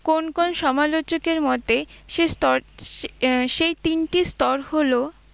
কোন কোন সমালোচক এর মতে সে স্তর আহ সেই তিনটি স্তর হল